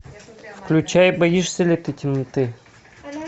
включай боишься ли ты темноты